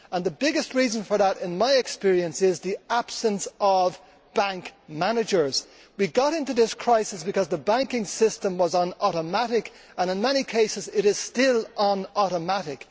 The biggest reason for that, in my experience, is the absence of bank managers. We got into this crisis because the banking system was on automatic and, in many cases, it is still on automatic.